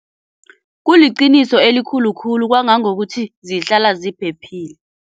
Kuliqiniso elikhulu khulu kwangangokuthi zihlala ziphephile.